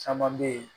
Caman bɛ yen